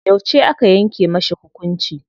Yauce aka yanke mashi hukunci?